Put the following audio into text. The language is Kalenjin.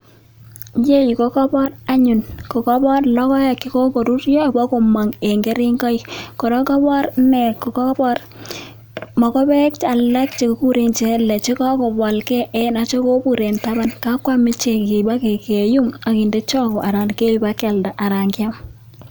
Iyeyu kokobor anyun logoek chekokoruryo bokomong' en keringoik, kora kokobor mogopek alak chekikuren chekokobolge ako kobur en taban, kakwam ichek ibokinde choko anan kibakyalda anan keib bakyam.